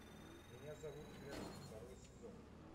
меня зовут эрл второй сезон